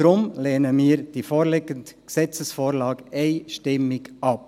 Deshalb lehnen wir die vorliegende Gesetzesvorlage einstimmig ab.